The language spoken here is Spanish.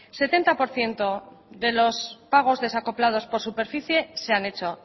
setenta por ciento de los pagos desacoplados por superficie se han hecho